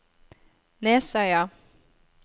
Nesøya